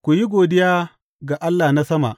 Ku yi godiya ga Allah na sama.